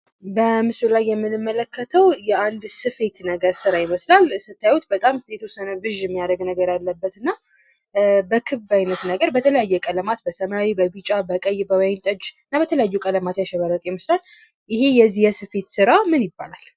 በምስሉ ላይ የምንመለከተው የአንድ ስፌት ነገር ስራ ይመስላል። ስታዩት በጣም የተወሰነ ብዥ የሚያደርግ ነገር ያለበትና በክብ አይነት ነገር በተለያየ ቀለማት በሰማያዊ፣ በቢጫ፣ በቀይ፣ በወይን ጠጅ እና በተለያዩ ቀለማት ያሸበረቀ ይመስላል። ይሄ የስፌት ስራ ምን ይባላል?